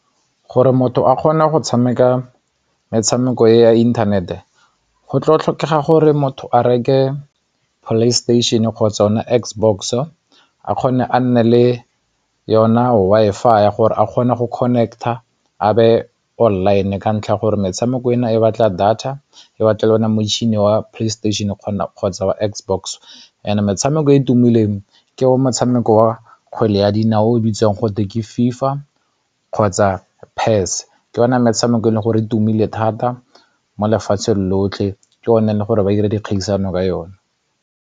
Gore motho a kgone go tshameka metshameko e ya internet-e go tlo tlhokega gore motho a reke PlayStation kgotsa ona X box-o a kgone a nne le yona Wi-Fi ya gore a kgone go connect-a a be online e ka ntlha ya gore metshameko eno e batla data e batla le one a motšhini wa PlayStation-e kgotsa wa X box and metshameko e e tumileng ke motshameko wa kgwele ya dinao o bitswang gotwe ke FIFA kgotsa ke ona metshameko e leng gore tumile thata mo lefatsheng lotlhe ke one le gore ba 'ira dikgaisano ka yone.